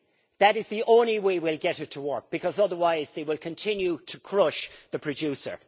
That is the only way we will get it to work, because otherwise they will continue to crush the producer.